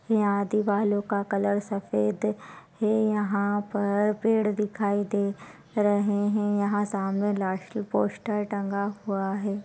यहाँ दीवालों का कलर सफेद है यहाँ पर पेड़ दिखाई दे रहे है यहाँ सामने पोस्टर टंगा हुआ हैं ।